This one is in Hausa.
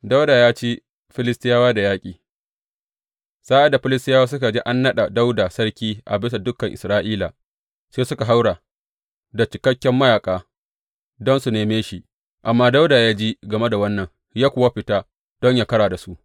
Dawuda ya ci Filistiyawa da yaƙi Sa’ad da Filistiyawa suka ji an naɗa Dawuda sarki a bisa dukan Isra’ila, sai suka haura da cikakken mayaƙa don su neme shi, amma Dawuda ya ji game da wannan ya kuwa fita don yă ƙara da su.